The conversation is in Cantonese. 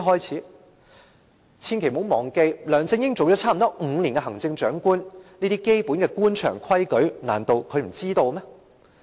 千萬不要忘記，梁振英已擔任行政長官約5年，這些基本的官場規矩，難道他不知道嗎？